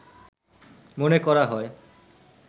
মনে করা হয়